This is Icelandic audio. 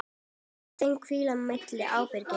Á þeim hvílir mikil ábyrgð.